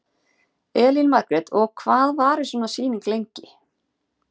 Elín Margrét: Og hvað varir svona sýning lengi?